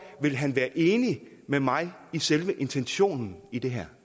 ville han være enig med mig i selve intentionen i det her